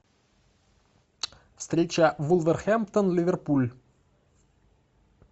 встреча вулверхэмптон ливерпуль